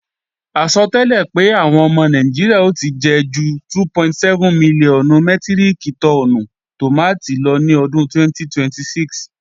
Àsọtẹ́lẹ̀ pé àwọn ọmọ Nàìjíríà ò ti jẹ ju 2.7 mílíọ̀nù mẹ́tíríkì tọ́ọ́nù tòmátì lọ ní ọdún 2026